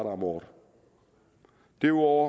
om året derudover